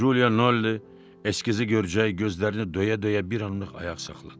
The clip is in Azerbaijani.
Culiya Nolli eskizi görcək, gözlərini döyə-döyə bir anlıq ayaq saxladı.